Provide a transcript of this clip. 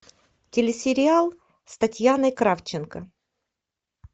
телесериал с татьяной кравченко